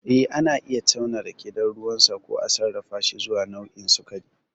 Eh, ana iya tauna rake don ruwansa, ko a sarrafashi zuwa nau'o'i sikari.